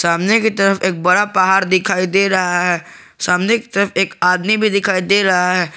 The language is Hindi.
सामने की तरफ एक बड़ा पहाड़ दिखाई दे रहा है सामने की तरफ एक आदमी भी दिखाई दे रहा है।